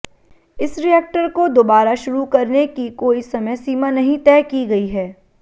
इस रिएक्टर को दोबारा शुरू करने की कोई समय सीमा नहीं तय की गई है